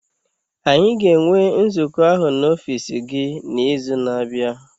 Anyị ga-enwe nzukọ ahụ n'ọfiisi gị n'izu na-abịa.